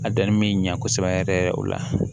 A danni bɛ ɲɛ kosɛbɛ yɛrɛ yɛrɛ yɛrɛ o la